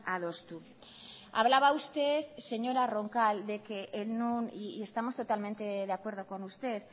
adostu hablaba usted señora roncal estamos totalmente de acuerdo con usted